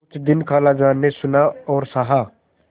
कुछ दिन खालाजान ने सुना और सहा